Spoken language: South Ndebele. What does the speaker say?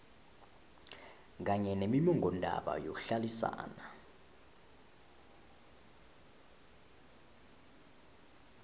kanye nommongondaba yokuhlalisana